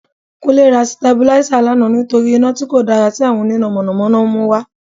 Kúnlé ra Sitabuláísà lánàá nítorí iná tí kò dára tí àwọn oníná Mọ̀nà Mọ̀nà ń mú wá